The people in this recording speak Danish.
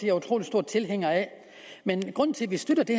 er utrolig stor tilhænger af men grunden til at vi støtter det